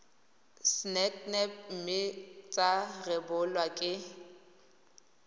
sacnap mme tsa rebolwa ke